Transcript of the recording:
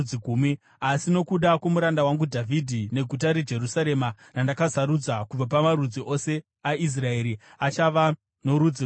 Asi nokuda kwomuranda wangu Dhavhidhi neguta reJerusarema, randakasarudza kubva pamarudzi ose aIsraeri, achava norudzi rumwe chete.